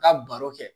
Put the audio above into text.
Ka baro kɛ